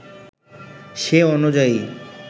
সে অনুযায়ী